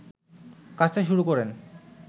কাশতে শুরু করেন